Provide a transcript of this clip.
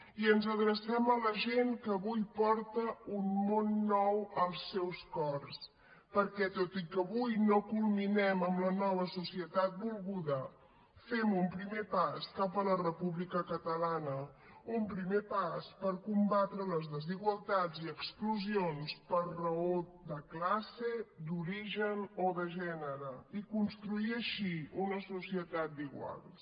i ens adrecem a la gent que avui porta un món nou als seus cors perquè tot i que avui no culminem amb la nova societat volguda fem un primer pas cap a la república catalana un primer pas per combatre les desigualtats i exclusions per raó de classe d’origen o de gènere i construir així una societat d’iguals